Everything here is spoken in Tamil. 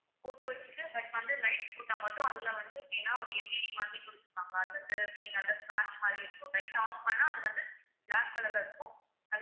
photo வச்சுட்டு but வந்து light போட்டா மட்டும் அதுல வந்து ஏன்னா ஒரு LED மாதிரி குடுத்துருப்பாங்க அது வந்து நல்லா மாதிரி இருக்கும் light off பண்ணா அது வந்து black colour ல இருக்கும்